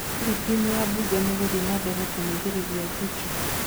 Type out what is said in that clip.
Hihi time ya Mbunge nĩ ĩgũthiĩ nambere kũmũgirĩrĩria Zuchu ?